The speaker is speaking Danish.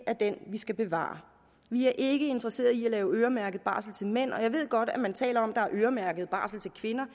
er den vi skal bevare vi er ikke interesseret i at lave øremærket barsel til mænd jeg ved godt at man taler om at øremærket barsel til kvinder